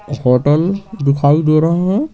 Hotel दिखाई दे रहे है।